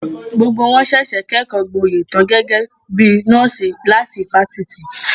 Gbogbo wọn ṣẹ̀ṣẹ̀ kẹ́kọgboyè tan gẹ́gẹ́ bí nọ́ọ̀sì láti ifásitì